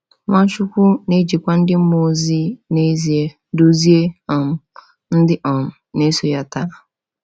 Nwachukwu na-ejikwa ndị mmụọ ozi n’ezie duzie um ndị um na-eso ya taa.